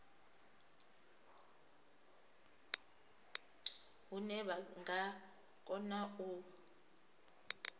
hune vha nga kona u